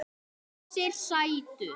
Þessir sætu!